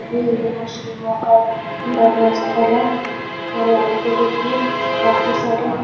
यह मुस्लिमों का धर्म स्थल है यहाँ पे देखिए काफी सारे --